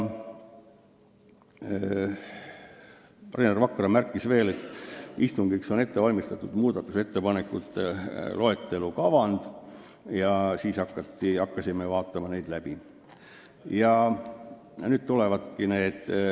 Rainer Vakra märkis veel, et istungiks on ette valmistatud muudatusettepanekute loetelu kavand, ja siis hakkasimegi seda läbi vaatama.